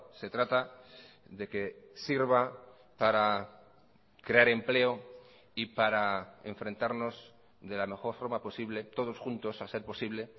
se trata de que sirva para crear empleo y para enfrentarnos de la mejor forma posible todos juntos a ser posible